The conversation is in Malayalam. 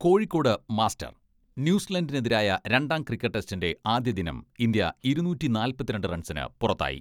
കോഴിക്കോട് മാസ്റ്റർ, ന്യൂസിലൻഡിനെതിരായ രണ്ടാം ക്രിക്കറ്റ് ടെസ്റ്റിന്റെ ആദ്യദിനം ഇന്ത്യ ഇരുനൂറ്റി നാല്പത്തിരണ്ട് റൺസിന് പുറത്തായി.